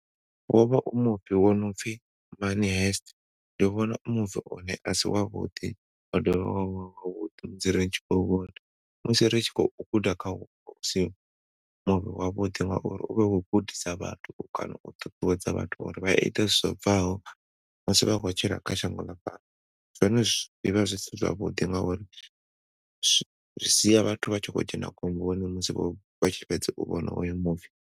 Wo vha u muvi wo nopfi money heist. Ndi vhona u muvi une asi wavhuḓi wa dovha wavha wavhuḓi musi ni tshi khou vhona. Musi ri tshi khou guda khao si wavhuḓi ngauri u vha khou gudisa vhathu kana u ṱuṱuwedza vhathu uri vha ite zwo bvaho musi vha khou tshila kha shango ḽa fhano zwone zwi vha zwi si zwavhuḓi ngauri zwi sia vhathu vha tshi khou dzhena khomboni musi vha tshifhedza u vhona oyo muvi.